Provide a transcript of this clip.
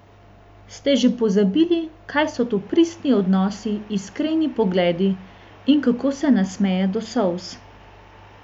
Ste že pozabili, kaj so to pristni odnosi, iskreni pogledi in kako se nasmeje do solz?